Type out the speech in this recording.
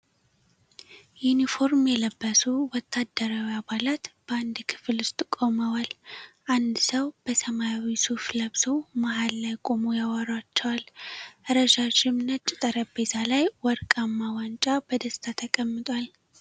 ዩኒፎርም የለበሱ ወታደራዊ አባላት በአንድ ክፍል ውስጥ ቆመዏል። አንድ ሰው በሰማያዊ ሱፍ ለብሶ መሃል ላይ ቆሞ ያወራቸዋል። ረዣዥም ነጭ ጠረጴዛ ላይ ወርቃማ ዋንጫ በደስታ ተቀምጧል።